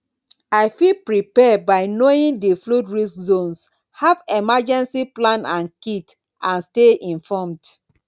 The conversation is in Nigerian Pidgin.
i fit prepare by knowing di flood risk zones have emergencey plan and kit and stay informed